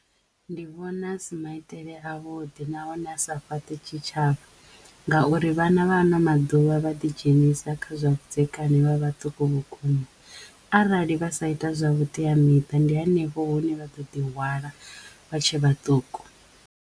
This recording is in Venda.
Ndi vhona a si maitele a vhuḓi nahone a sa fhaṱi tshitshavha ngauri vhana vha ano maḓuvha vha ḓi dzhenisa kha zwa vhudzekani vha vhaṱuku vhukuma arali vha sa ita zwa vhuteamiṱa ndi henefho hune vha ḓo ḓi hwala vha tshe vhaṱuku.